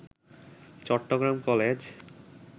Chittagong college